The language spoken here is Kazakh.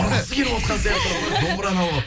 домбыраны алып алып